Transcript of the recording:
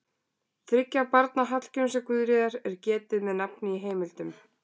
Þriggja barna Hallgríms og Guðríðar er getið með nafni í heimildum.